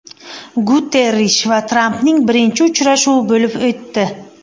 Guterrish va Trampning birinchi uchrashuvi bo‘lib o‘tdi.